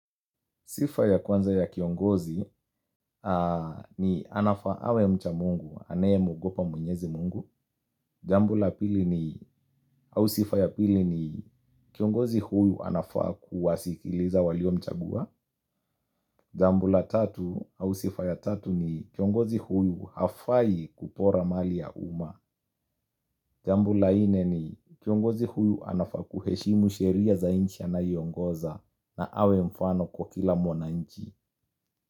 Sifa ya kwanza ya kiongozi ni anafaa awe mcha mungu, anaye muogopa mwenyezi mungu. Jambu la pili ni au sifa ya pili ni kiongozi huyu anafaa kuwasikiliza walio mchagua. Jambu la tatu au sifa ya tatu ni kiongozi huyu hafai kupora mali ya uma. Jambu la ine ni kiongozi huyu anafaa kuheshimu sheria za inchi anayongoza na awe mfano kwa kila mwana inchi.